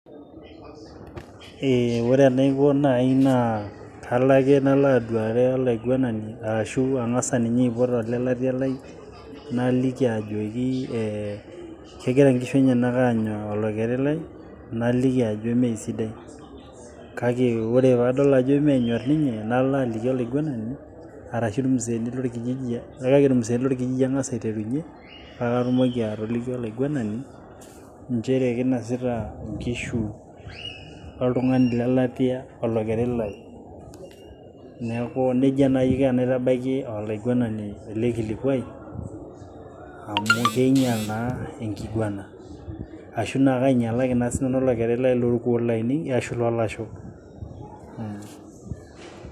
Ore enaiko naai naa kalo ake nalo aduare olaiguenani arashu ang'as ninye aipot olelaitia lai,, naliki ajoki kegira inkishu enyena anya olokeri lai, naliki ajo mee sidai. Kake ore paadol ajo menyor ninye nalo aliki olaiguenani arashu ilmzeeni lolkijiji kake ilmzeeni lolkijiji ang'as aiterunye, paake atuoki atoliki olaiguenani nchere keinosita inkishu oltung'ani lelatia olokeri lai. Neaku neija naai aiko paaitabaiki olaiguenani ele olkilikuai amu keinyal naa enkiguena. Ashu kainyalaki naa sinanu olokeri lai lolkuo laainei ashu loo lasho.